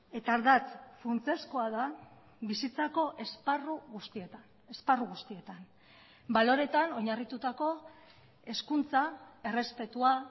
eta ardatz funtsezkoa da bizitzako esparru guztietan esparru guztietan baloreetan oinarritutako hezkuntza errespetua